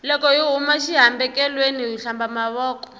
loko hi huma xi hambekelweni hi hlamba mavoko